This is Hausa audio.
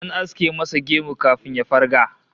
An aske masa gemu kafin ya farga